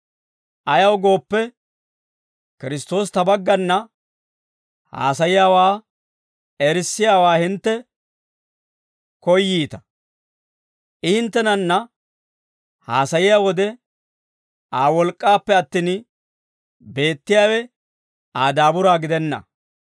Ayaw gooppe, Kiristtoosi ta baggana haasayiyaawaa erissiyaawaa hintte koyyiita. I hinttenanna haasayiyaa wode Aa wolk'k'aappe attin beettiyaawe Aa daaburaa gidenna.